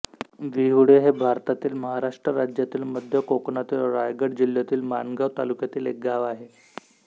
विहुळे हे भारतातील महाराष्ट्र राज्यातील मध्य कोकणातील रायगड जिल्ह्यातील माणगाव तालुक्यातील एक गाव आहे